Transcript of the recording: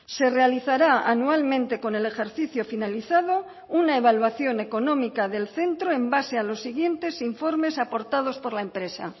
se realizará anualmente con el ejercicio finalizado una evaluación económica del centro en base a los siguientes informes aportados por la empresa